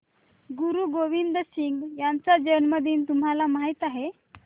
गुरु गोविंद सिंह यांचा जन्मदिन तुम्हाला माहित आहे